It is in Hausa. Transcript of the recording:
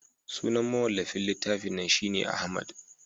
sunan mawallafin littafin nan shi ne Ahmad